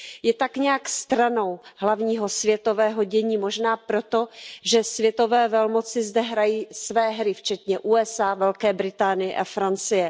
Je tak nějak stranou hlavního světového dění, možná proto, že světové velmoci zde hrají své hry včetně USA, Velké Británie a Francie.